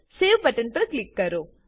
save button પર click કરો